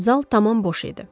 Zal tamam boş idi.